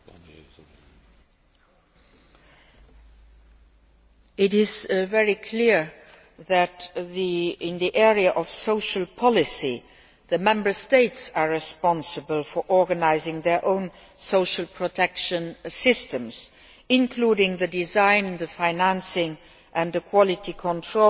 It is very clear that in the area of social policy, the Member States are responsible for organising their own social protection systems, including the design, financing and quality control of services provided in long term care